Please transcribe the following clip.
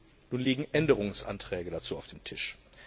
Nun liegen Änderungsanträge dazu auf dem Tisch.